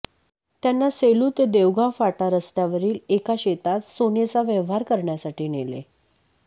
त्यांना सेलू ते देवगाव फाटा रस्त्यावरील एका शेतात सोनेचा व्यवहार करण्यासाठी नेले